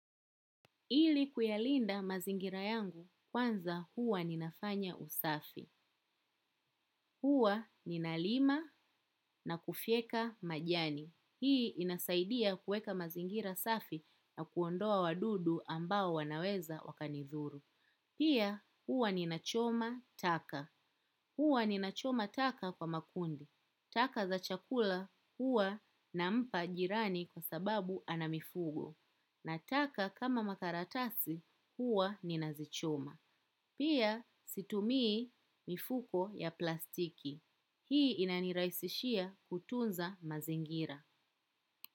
Ili kuyalinda mazingira yangu kwanza huwa ninafanya usafi. Huwa ninalima na kufyeka majani. Hii inasaidia kuweka mazingira safi na kuondoa wadudu ambao wanaweza wakanidhuru. Pia huwa ninachoma taka. Huwa nina choma taka kwa makundi. Taka za chakula huwa nampa jirani kwa sababu ana mifugo. Nataka kama makaratasi huwa ninazichoma. Pia situmii mifuko ya plastiki. Hii inanirahisishia kutunza mazingira.